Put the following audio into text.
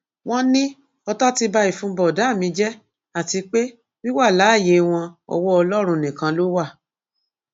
wọn ní ọtá ti ba ìfun bọdà mi jẹ àti pé wíwà láàyè wọn ọwọ ọlọrun nìkan ló wà